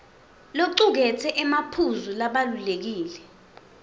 locuketse emaphuzu labalulekile